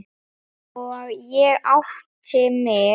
Og ég átti mig.